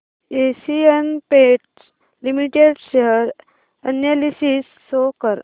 Asian Paints Limited share analysis show कर